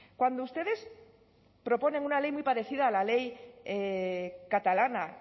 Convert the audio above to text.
cuando ustedes proponen una ley muy parecida a la ley catalana